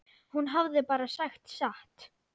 Hún hafði bara sagt satt.